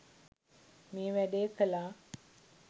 මේ වැඩේ කළා.